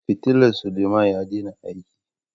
fitilla Suleman ya daina aiki.